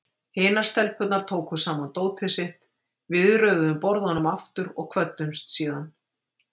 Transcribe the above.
Hinar stelpurnar tóku saman dótið sitt, við röðuðum borðunum aftur og kvöddumst síðan.